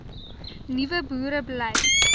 nuwe boere bly